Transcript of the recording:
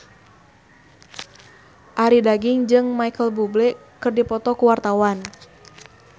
Arie Daginks jeung Micheal Bubble keur dipoto ku wartawan